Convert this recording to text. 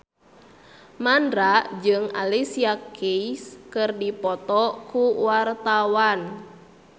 Mandra jeung Alicia Keys keur dipoto ku wartawan